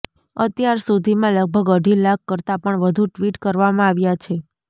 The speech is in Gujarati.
અત્યાર સુધીમાં લગભગ અઢી લાખ કરતા પણ વધુ ટ્વીટ કરવામાં આવ્યાં છે